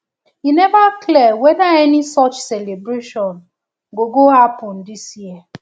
e neva clear weda any such celebration go go happen dis year